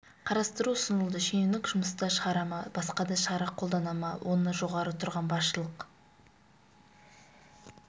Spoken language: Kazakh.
қарастыру ұсынылды шенеунікті жұмыстан шығара ма басқа да шара қолдана ма оны жоғары тұрған басшылық